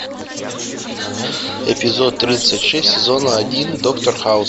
эпизод тридцать шесть сезона один доктор хаус